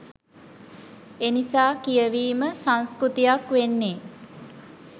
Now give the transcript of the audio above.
එනිසා කියවීම සංස්කෘතියක් වෙන්නෙ